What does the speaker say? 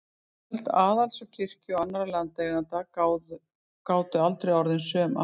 Völd aðals og kirkju og annarra landeigenda gátu aldrei orðið söm aftur.